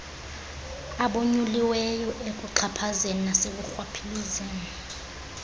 abonyuliweyo ekuxhaphazeni nasekurhwaphilizeni